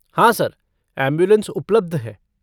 हाँ sir, ambulance उपलब्ध है।